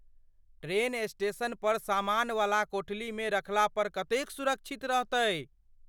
Train station पर सामानवला कोठलीमे रखला पर कतेक सुरक्षित रहतै ?